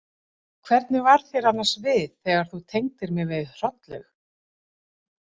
Hvernig varð þér annars við þegar þú tengdir mig við Hrollaug?